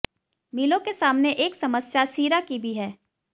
मिलों के सामने एक समस्या सीरा की भी है